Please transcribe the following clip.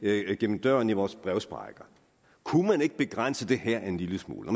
gennem døren via vores brevsprækker kunne man ikke begrænse det her en lille smule